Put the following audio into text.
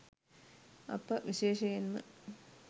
අප විශේෂයෙන්ම